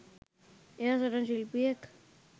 එයා සටන් ශිල්පියෙක්